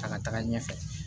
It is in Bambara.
A ka taga ɲɛfɛ